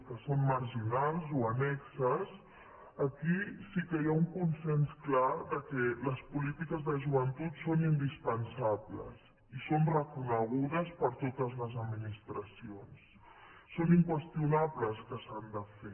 que són marginals o annexes aquí sí que hi ha un consens clar que les polítiques de joventut són indispensables i són reconegudes per totes les administracions són inqüestionables que s’han de fer